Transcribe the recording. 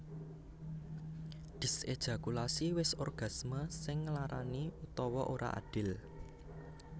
Dyséjakulasi wis orgasme sing nglarani utawa ora adil